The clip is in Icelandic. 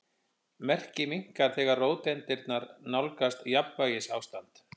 Merkið minnkar þegar róteindirnar nálgast jafnvægisástand.